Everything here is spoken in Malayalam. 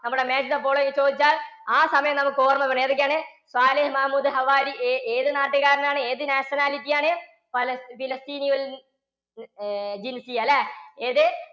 നമ്മുടെ match the following ചോദിച്ചാൽ ആ സമയം നമുക്ക് ഓർമ്മവേണം ഏതൊക്കെയാണ് സാലിഹ് മഹമൂദ് ഹവാരി ഏതു നാട്ടുകാരനാണ് ഏത് nationality ആണ്? പലസ്തീന~പലസ്തീനയിൽ ഏർ അല്ലേ ഏത്?